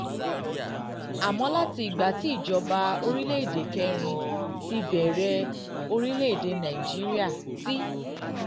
àmọ́ látìgbà tí ìjọba orílẹ̀-èdè kẹrin ìjọba orílẹ̀-èdè kẹrin ti bẹ̀rẹ̀ orílẹ̀-èdè nàìjíríà ti